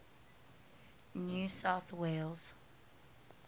new south wales